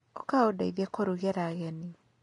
Ũka ũndeithie kũrugĩra ageni.